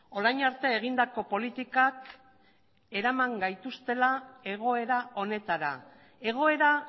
orain arte egindako politikak eraman gaituztela egoera honetara egoera